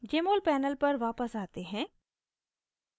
jmol panel पर वापस आते हैं